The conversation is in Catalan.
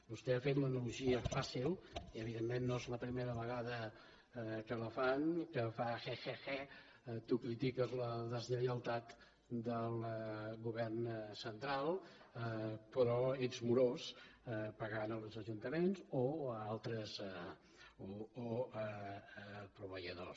vostè ha fet l’analogia fàcil i evidentment no és la primera vegada que la fan i que fa he he he tu critiques la deslleialtat del govern central però ets morós pagant els ajuntaments o proveïdors